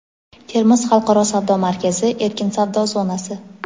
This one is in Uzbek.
"Termiz xalqaro savdo markazi" erkin savdo zonasi;.